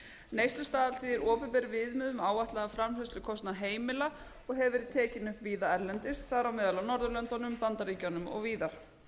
var í opinberum viðmiðum um áætlaðan framfærslukostnað heimila og hefur verið tekinn upp víða erlendis þar á meðal á norðurlöndum í bandaríkjunum og víðar